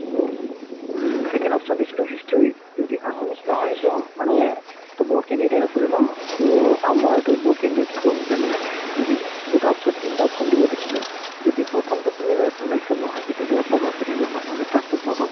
second option দিছিলো history যদি assamese নহয় to মানে to বহুত candidate আছিলে ন to আমাৰতো বহুত candidate থাকোওতে মানে যদি দুটা option তিনটা option দিব দিছিলে যদি প্ৰথমতোত তুমি যদি selection নহয় second ত পাব second ত নহ'লে third তোত পাব